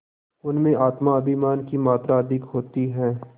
उनमें आत्माभिमान की मात्रा अधिक होती है